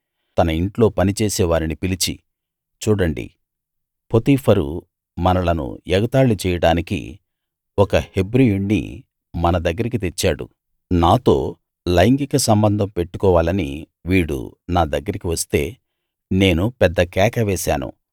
తన ఇంట్లో పనిచేసే వారిని పిలిచి చూడండి పోతీఫరు మనలను ఎగతాళి చేయడానికి ఒక హెబ్రీయుణ్ణి మన దగ్గరికి తెచ్చాడు నాతో లైంగిక సంబంధం పెట్టుకోవాలని వీడు నా దగ్గరికి వస్తే నేను పెద్ద కేక వేశాను